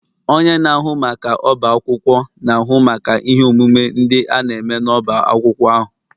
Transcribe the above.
Onye na-ahụ maka ọbá akwụkwọ na-ahụ maka ihe omume ndị a na-eme n'ọbá akwụkwọ ahụ